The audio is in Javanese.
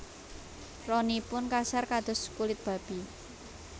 Ronipun kasar kados kulit babi